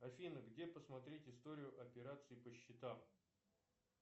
афина где посмотреть историю операций по счетам